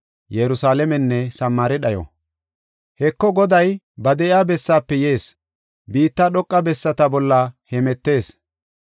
Heko, Goday ba de7iya bessaafe yees; biitta dhoqa bessata bolla hemetees.